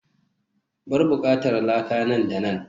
bar bukkar laka nan da nan